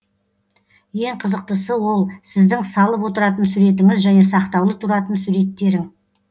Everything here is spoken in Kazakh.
ең қызықтысы ол сіздің салып отыратын суретіңіз және сақтаулы тұратын суреттерің